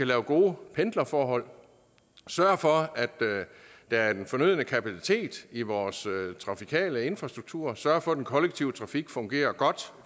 lave gode pendlerforhold at sørge for at der er den fornødne kapacitet i vores trafikale infrastruktur og sørge for at den kollektive trafik fungerer godt